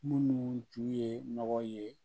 Minnu tun ye nɔgɔ ye